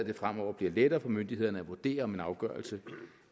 det fremover bliver lettere for myndighederne at vurdere om en afgørelse